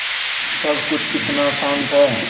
सब कुछ कितना शान्त है